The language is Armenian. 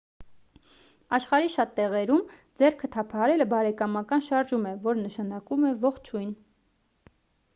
աշխարհի շատ տեղերում ձեռքը թափահարելը բարեկամական շարժում է որը նշանակում է ողջույն